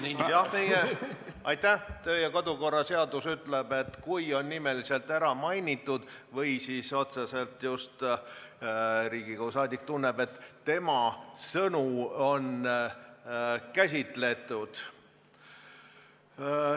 Meie kodu- ja töökorra seadus ütleb, et repliigi õigus tekib, kui keegi on nimeliselt ära mainitud või Riigikogu liige otseselt tunneb, et tema sõnu on käsitletud.